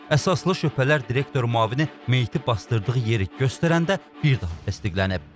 Əsaslı şübhələr direktor müavini meyiti basdırdığı yeri göstərəndə bir daha təsdiqlənib.